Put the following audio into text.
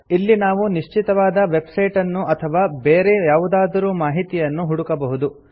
ಇಲ್ಲಿ ನಾವು ನಿಶ್ಚಿತವಾದ ವೆಬ್ ಸೈಟ್ ಅನ್ನು ಅಥವಾ ಬೇರೆ ಯಾವುದಾದರು ಮಾಹಿತಿಯನ್ನು ಹುಡುಕಬಹುದು